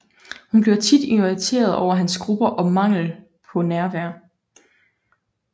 Hun bliver tit irriteret over hans grupper og mangel på nærvær